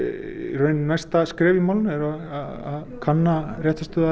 í rauninni næsta skref í málinu að kanna réttarstöðu